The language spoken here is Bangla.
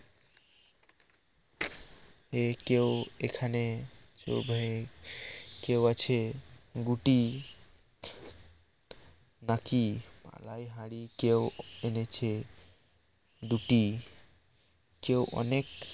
এ কেউ এখানে কেউ আছে গুটি নাকি আলাই হাড়ি কেউ এনেছে দুটি কেউ অনেক